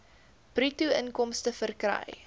bruto inkomste verkry